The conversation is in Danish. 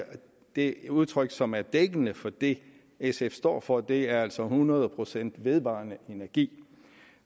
det udtryk som er dækkende for det sf står for og det er altså hundrede procent vedvarende energi